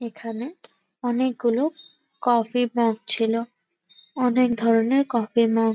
এখানে অনেকগুলো coffee mug ছিল অনেক ধরনের কফি মগ |